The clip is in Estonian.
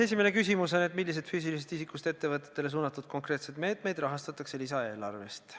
Esimene küsimus on, milliseid füüsilisest isikust ettevõtjatele suunatud konkreetseid meetmeid rahastatakse lisaeelarvest.